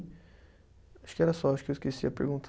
Acho que era só, acho que eu esqueci a pergunta.